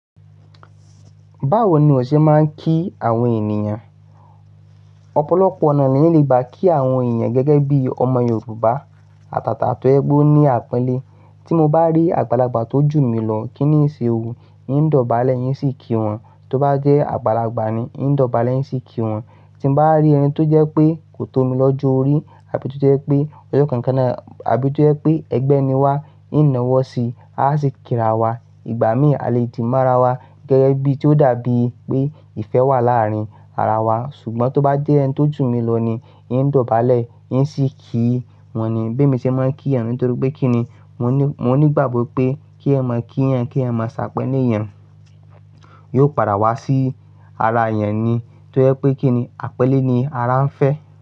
Báwo ni o ṣe máa ń kí àwọn ènìyàn? Ọ̀pọ̀lọpọ̀ ọ̀nà ni ẹyan lè gbá kí àwọn ènìyàn gẹ́gẹ́ bí ọmọ Yorùbá. Àtàtà tó jẹ pe óní àponlẹ́. Tí mo bá rí àgbàlagbà tó jù mí lọ, kíni ń ṣe òun? Ein dọ̀bálẹ̀ eín sì kí wọn. Tó bá jẹ́ àgbàlagbà ni, ein dọ̀bálẹ̀ eín sì kí wọn. Tí mo bá rí ẹni tó jẹ́ pé kò tó mi lọ jọ́ọ́rí àbí tó jẹ́ pé ọjọ́ kànkanà àbí tó jẹ́ pé ẹgbẹ́ ni wá, ein nawọ́ sí i, asì kíra wa. Ìgbà míì a lè dìma ara wa gẹ́gẹ́ bí tí ó dàbí pé ìfẹ́ wà láàárín ara wa. Ṣùgbọ́n tó bá jẹ́ ẹni tó jù mí lọ ni, ein dọ̀bálẹ̀ eín sì kí wọ́n ni. Bí emi ṣe máa ń kí ẹniyan niye, nitorí pé kíni, mo ní ìgbàgbọ́ pé kí ẹniyan mọ kí ẹniyan kí ẹniyan mọ se aponlẹ́ ẹniyan yóò padà wá sí ara ẹniyan ni tó jẹ́ pé kíni àponlẹ́ ni ara ń fẹ́.